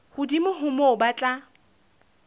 hodimo ho moo ba tla